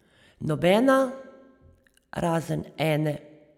Nobena, razen ene.